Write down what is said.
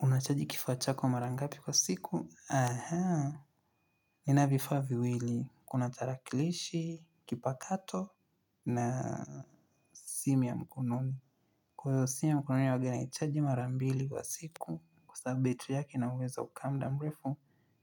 Unacheji kifaa chako marangapi kwa siku? Aha. Nina vifaa viwili. Kuna tarakilishi, kipakato na simu ya mkononi. Kwa hiyo simu ya mkononi, wagenayichaji marambili kwa siku. Kwa sababu betiri yake inauwezo wa kukaa muda mrefu.